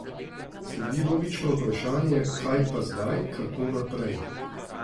Sledi logično vprašanje, kaj pa zdaj, kako naprej?